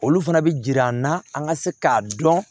Olu fana bɛ jir'an na an ka se k'a dɔn